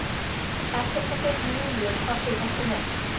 Ekkert af fötum Júlíu passi hvort sem er.